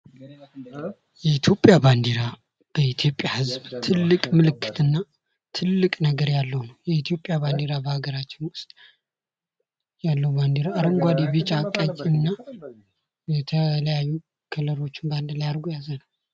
የኢትዮጵያ ባንዲራ በኢትዮጵያ ህዝብ ትልቅ ምልክትና ትልቅ ነገር ያለው የኢትዮጵያ ባንዲራ በሀገራችን ውስጥ ያለው ባንድራ አረንጓዴ ቢጫ ቀይ እና የተለያዩ ክልሎችን ባንድ ላይ አርጎ የያዘ ነው።